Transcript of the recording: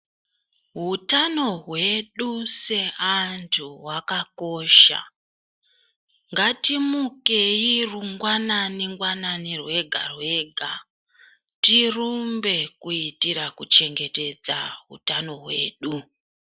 Hutano hwedu seantu hwakakosha. Ngatimukei rungwanani-ngwanani rwega rwega tirumbe, kuitira kuchengetedza hutano hwedu.